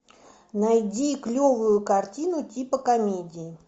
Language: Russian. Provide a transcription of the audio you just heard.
найди клевую картину типа комедии